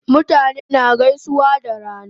Mutane na gaisuwa da rana